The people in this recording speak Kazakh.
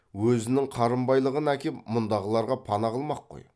өзінің қарынбайлығын әкеп мұндағыларға пана қылмақ қой